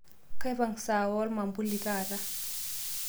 kaipung' saa woo olmambuli taata